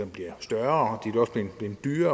bliver større